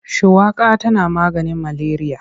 Shuwaka tana maganin maleriya.